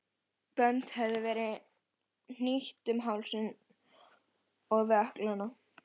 Bönd höfðu verið hnýtt um hálsinn og við ökklana.